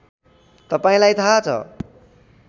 तपाईँलाई थाहा छ